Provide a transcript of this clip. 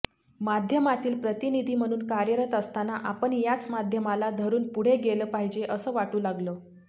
माध्यमातील प्रतिनिधी म्हणून कार्यरत असताना आपण याच माध्यमाला धरून पुढे गेलं पाहिजे असं वाटू लागलं